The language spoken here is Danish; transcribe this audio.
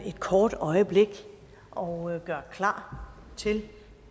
et kort øjeblik og gør klar til